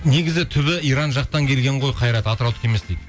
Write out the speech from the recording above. негізі түбі иран жақтан келген ғой қайрат атыраудікі емес дейді